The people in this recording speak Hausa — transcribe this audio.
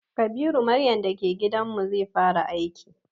Kabiru maryan da ke gidan mu, zai fara aiki gobe.